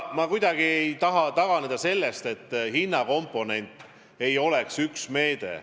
Ma kuidagi ei taha taganeda seisukohast, et hinnakomponent on üks meede.